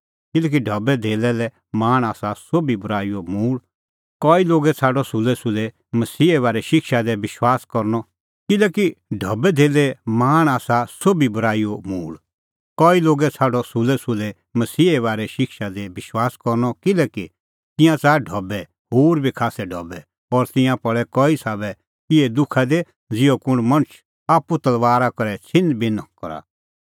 किल्हैकि ढबैधेल्लै लै लाल़च़ आसा सोभी बूराईओ मूल़ कई लोगै छ़ाडअ सुलैसुलै मसीहे बारै शिक्षा दी विश्वास करनअ किल्हैकि तिंयां च़ाहा ढबै होर बी खास्सै ढबै और तिंयां पल़ै कई साबै इहै दुखा दी ज़िहअ कुंण मणछ आप्पू तलबारा करै छ़िन्हबिन्ह करा